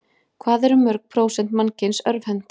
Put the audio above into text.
Hvað eru mörg prósent mannkyns örvhent?